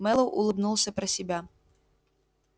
мэллоу улыбнулся про себя